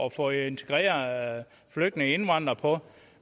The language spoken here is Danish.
at få integreret flygtninge og indvandrere på